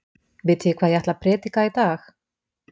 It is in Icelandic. Vitið þið hvað ég ætla að prédika í dag?